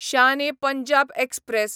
Shaan e Punjab express